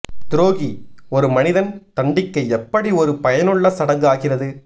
துரோகி ஒரு மனிதன் தண்டிக்க எப்படி ஒரு பயனுள்ள சடங்கு ஆகிறது